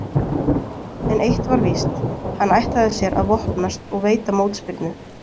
En eitt var víst, hann ætlaði sér að vopnast og veita mótspyrnu.